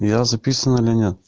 я записан или нет